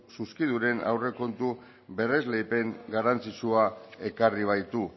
zuzkiduren aurrekontu berresleipen garrantzitsua ekarri baitu